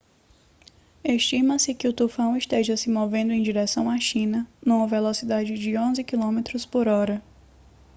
estima-se que o tufão esteja se movendo em direção à china numa velocidade de 11 quilômetros por hora